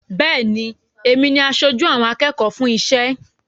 Bẹ́ẹ̀ ni, èmi ni aṣojú àwọn akẹ́kọ̀ọ́ fún iṣẹ́.